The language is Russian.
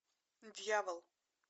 дьявол